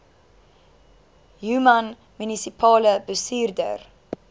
human munisipale bestuurder